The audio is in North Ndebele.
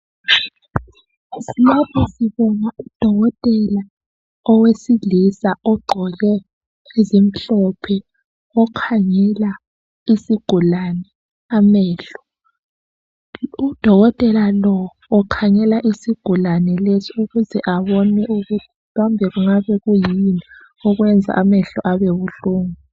Lapha sibona udokotela owesilisa ogqoke ezimhlophe okhangela isigulane amehlo, udokotela lo ukhangela isigulane lesi ukuthi abone ukuthi kambe kungabe kuyini okwenza amehlo abe buhlungu